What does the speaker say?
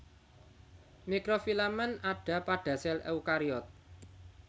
Mikrofilamen ada pada sel eukariot